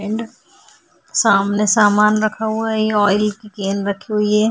And सामने सामान रखा हुआ है । ये ऑइल की एक कैन रखी हुई है ।